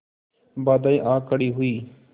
बाधाऍं आ खड़ी हुई